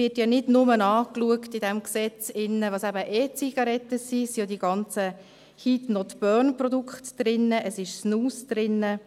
In diesem Gesetz wird ja nicht nur angeschaut, was E-Zigaretten sind, sondern auch die ganzen «Heat-not-burn»-Produkte, «Snus» ist enthalten;